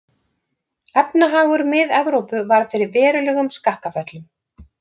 Efnahagur Mið-Evrópu varð fyrir verulegum skakkaföllum.